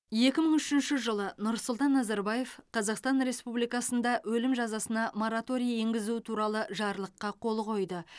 екі мың үшінші жылы нұрсұлтан назарбаев қазақстан республикасында өлім жазасына мораторий енгізу туралы жарлыққа қол қойды